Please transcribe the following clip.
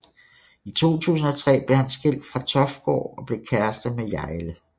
I 2003 blev han skilt fra Toftgård og blev kærester med Hjejle